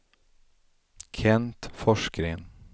Kent Forsgren